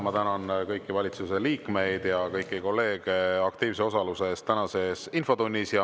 Ma tänan kõiki valitsuse liikmeid ja kõiki kolleege aktiivse osaluse eest tänases infotunnis.